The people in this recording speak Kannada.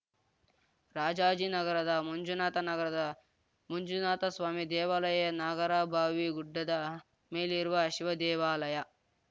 ರಾಜಾಜಿನಗರದ ಮಂಜುನಾಥ ನಗರದ ಮಂಜುನಾಥಸ್ವಾಮಿ ದೇವಾಲಯ ನಾಗರಭಾವಿ ಗುಡ್ಡದ ಮೇಲಿರುವ ಶಿವದೇವಾಲಯ